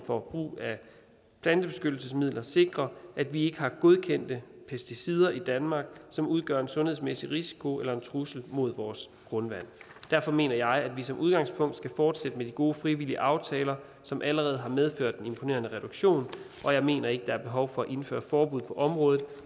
for brug af plantebeskyttelsesmidler sikrer at vi ikke har godkendte pesticider i danmark som udgør en sundhedsmæssig risiko eller en trussel mod vores grundvand derfor mener jeg at vi som udgangspunkt skal fortsætte med de gode frivillige aftaler som allerede har medført en imponerende reduktion og jeg mener ikke at der er behov for at indføre forbud på området